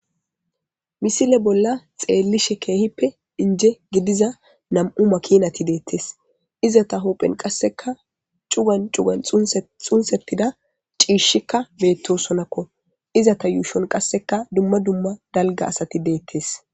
misile bolla xeellishe keehippe inje gidiza nam7u makinati deettes iza ta hoopphen qasseka cugan cugan xunsetida ciishshikka beettosonakko izata yuushon qasseka dumma dumma dalga asati deettes